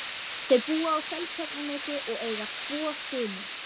Þau búa á Seltjarnarnesi og eiga tvo syni.